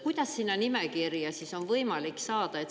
Kuidas sinna nimekirja on võimalik saada?